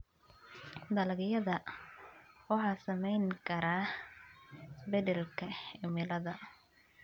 Dalagyada waxaa saameyn kara isbeddelka cimilada.